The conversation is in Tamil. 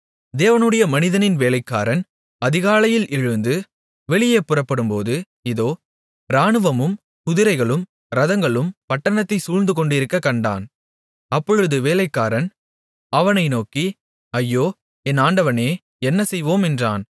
தேவனுடைய மனிதனின் வேலைக்காரன் அதிகாலையில் எழுந்து வெளியே புறப்படும்போது இதோ இராணுவமும் குதிரைகளும் இரதங்களும் பட்டணத்தைச் சூழ்ந்துகொண்டிருக்கக் கண்டான் அப்பொழுது வேலைக்காரன் அவனை நோக்கி ஐயோ என் ஆண்டவனே என்னசெய்வோம் என்றான்